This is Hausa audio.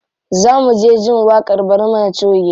Za mu je jin waƙar barmana choge.